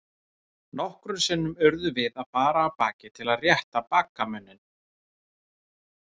Nokkrum sinnum urðum við að fara af baki til að rétta baggamuninn.